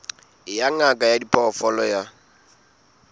ya ngaka ya diphoofolo ya